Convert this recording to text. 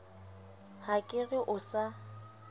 ha ke re o sa